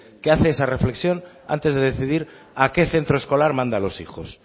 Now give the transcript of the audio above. que hace esa reflexión antes de decidir a qué centro escolar manda a los hijos